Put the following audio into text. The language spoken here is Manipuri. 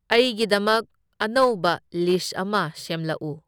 ꯑꯩꯒꯤꯗꯃꯛ ꯑꯅꯧꯕ ꯂꯤꯁ ꯑꯃ ꯁꯦꯝꯂꯛꯎ꯫